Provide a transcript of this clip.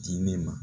Di ne ma